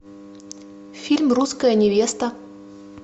фильм русская невеста